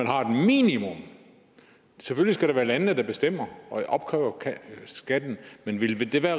har et minimum selvfølgelig skal det være landene der bestemmer og opkræver skatten men ville det